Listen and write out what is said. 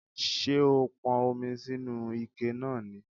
Ṣé o pọn omi sínu ike náà ni?